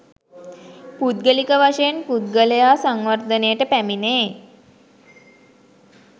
පුද්ගලික වශයෙන් පුද්ගලයා සංවර්ධනයට පැමිණේ.